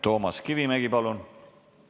Toomas Kivimägi, palun!